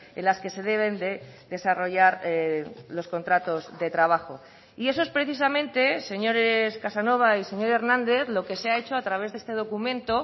en las que se deben de desarrollar los contratos de trabajo y eso es precisamente señores casanova y señor hernández lo que se ha hecho a través de este documento